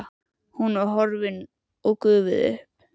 En hún var horfin, gufuð upp.